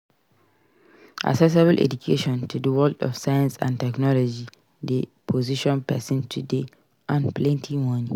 Accessible education to di world of science and technology de position persin to de earn plenty moni